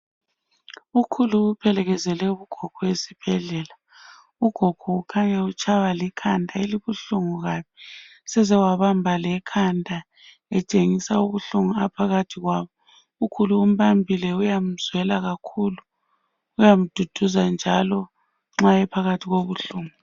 Ukhulu uphelekezele ugogo esibhedlela. Ugogo ukhanya utshaywa likhanda elibuhlungu kabi, sezewabamba lekhanda etshengisa ubuhlungu aphakathi kwabo ukhulu umbambile uyamzwela kakhulu, uyamduduza njalo nxa ephakathi kobuhlungu.